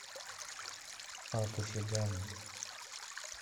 отжиган